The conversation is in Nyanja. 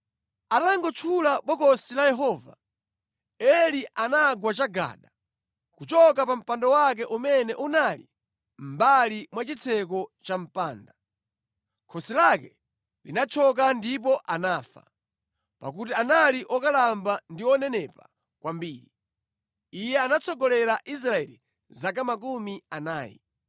Atangotchula Bokosi la Yehova, Eli anagwa chagada, kuchoka pa mpando wake umene unali mʼmbali mwa chitseko cha mpanda. Khosi lake linathyoka ndipo anafa, pakuti anali okalamba ndi onenepa kwambiri. Iye anatsogolera Israeli zaka makumi anayi.